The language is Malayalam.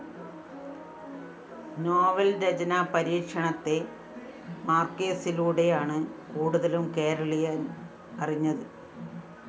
നോവല്‍ രചനാ പരീക്ഷണത്തെ മാര്‍ക്വേസിലൂടെയാണ് കൂടുതലും കേരളീയന്‍ അറിഞ്ഞത്